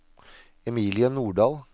Emilie Nordal